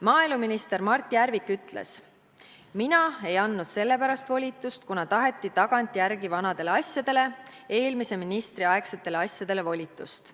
Maaeluminister Mart Järvik ütles: "Mina ei andnud sellepärast volitust, kuna taheti tagantjärgi vanadele asjadele, eelmise ministri aegsetele asjadele, volitust.